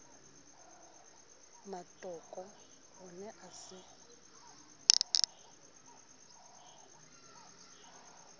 mmatoko o ne a se